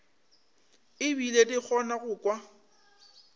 ebile di kgona go kwa